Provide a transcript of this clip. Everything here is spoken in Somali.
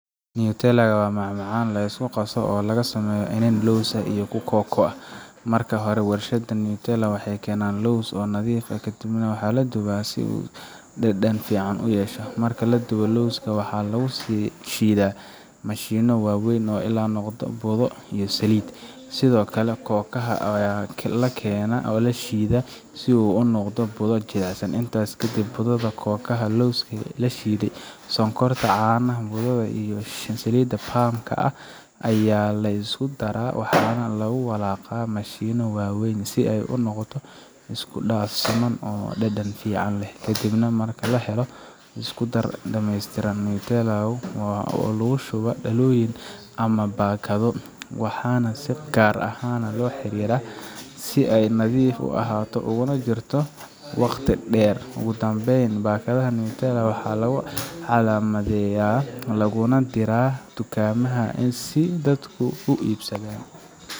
Nutella waa macmacaan la isku qaso oo laga sameeyo iniin lows ah iyo kooko. Marka hore, warshadaha Nutella waxay keenaan lowska oo nadiif ah, kaddibna waa la dubaa si dhadhan fiican u yeesho. Marka la dubo, lowska waxaa lagu shiidaa mashiinno waaweyn ilaa uu noqdo budo iyo saliid. Sidoo kale, kookaha ayaa la keenaa oo la shiidaa si uu u noqdo budo jilicsan. Intaas kadib, budada kookaha, lowska la shiiday, sonkorta, caanaha budada ah iyo saliidda palm ka ayaa la isku daraa. Waxaana lagu walaaqaa mashiinno waaweyn si ay u noqoto isku dhaf siman oo dhanaan fiican leh. Ka dib marka la helo isku darka dhameystiran, Nutella waxaa loo shubaa dhalooyin ama baakado, waxaana si gaar ah loo xiraa si ay u nadiif ahaato uguna sii jirto waqti dheer. Ugu dambeyn, baakadaha Nutella waxaa lagu calaamadeeyaa, laguna diraa dukaamada si dadku u iibsadaan.